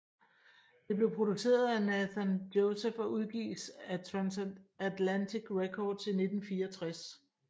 Det blev produceret at Nathan Joseph og udgivet af Transatlantic Records i 1964